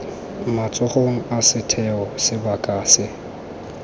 matsogong a setheo sebaka se